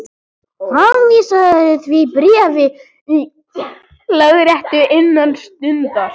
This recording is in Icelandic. Framvísaðu því bréfi í lögréttu innan stundar.